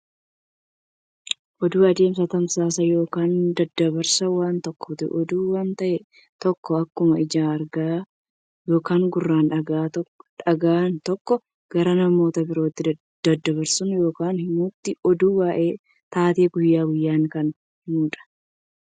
Oduun adeemsa tamsaasa yookiin daddabarsa waan tokkooti. Oduun waan ta'e tokko akkuma ijaan arganiin yookiin gurraan dhagaa'iin tokko gara namoota birootti daddabarsuu yookiin himuuti. Oduun waa'ee taatee guyyaa guyyaanii kan himudha.